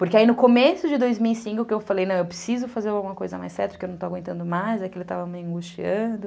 Porque aí no começo de dois mil e cinco que eu falei, não, eu preciso fazer alguma coisa mais certo, que eu não estou aguentando mais, é que ele estava me angustiando...